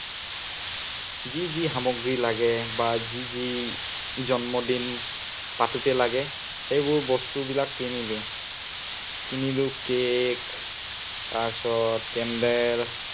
যি যি সামগ্ৰী লাগে বা যি যি জন্মদিন পাতোতে লাগে, সেইবোৰ বস্তুবিলাক কিনিলো। কিনিলো cake তাৰপিছত candle